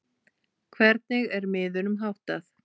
Hvernig er miðunum háttað?